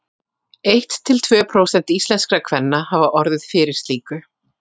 Eitt til tvö prósent íslenskra kvenna hafa orðið fyrir slíku.